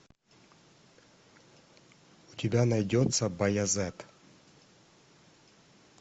у тебя найдется баязет